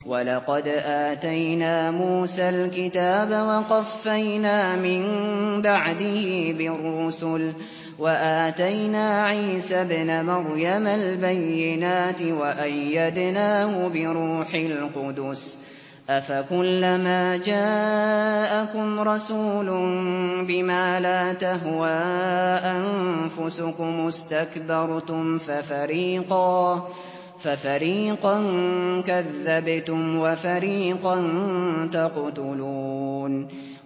وَلَقَدْ آتَيْنَا مُوسَى الْكِتَابَ وَقَفَّيْنَا مِن بَعْدِهِ بِالرُّسُلِ ۖ وَآتَيْنَا عِيسَى ابْنَ مَرْيَمَ الْبَيِّنَاتِ وَأَيَّدْنَاهُ بِرُوحِ الْقُدُسِ ۗ أَفَكُلَّمَا جَاءَكُمْ رَسُولٌ بِمَا لَا تَهْوَىٰ أَنفُسُكُمُ اسْتَكْبَرْتُمْ فَفَرِيقًا كَذَّبْتُمْ وَفَرِيقًا تَقْتُلُونَ